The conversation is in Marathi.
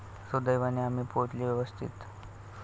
सुदैवाने आम्ही पोहोचलो व्यवस्थित.